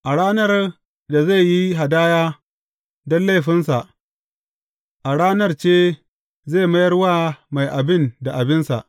A ranar da zai yi hadaya don laifinsa, a ranar ce zai mayar wa mai abin da abinsa.